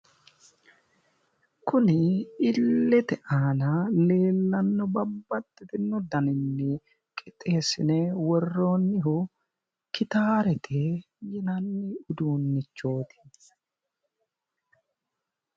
Kunni illete aanna leellano babbaxitino danninni qixeesine woroonnihu gittarete yinnanni uduunichooti.